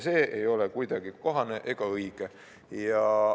See ei ole kuidagi kohane ega õige.